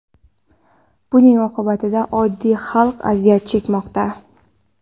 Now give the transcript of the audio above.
Buning oqibatida oddiy xalq aziyat chekmoqda.